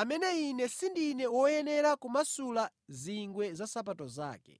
amene ine sindine woyenera kumasula zingwe za nsapato zake.’